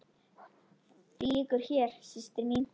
Því lýkur hér, systir mín.